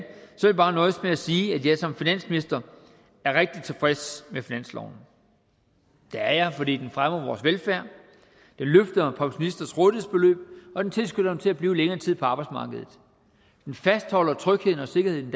jeg bare nøjes med at sige at jeg som finansminister er rigtig tilfreds med finansloven det er jeg fordi den fremmer vores velfærd den løfter pensionisters rådighedsbeløb og den tilskynder til at blive længere tid på arbejdsmarkedet den fastholder trygheden og sikkerheden i